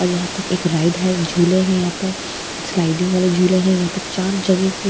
और यहाँ पे एक राइड है झूले है यहाँ पर स्लाइडिंग वाले झूले हैं यहाँ पर चार जगह के --